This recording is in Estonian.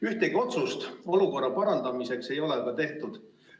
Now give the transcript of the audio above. Ühtegi otsust olukorra parandamiseks ei ole tehtud.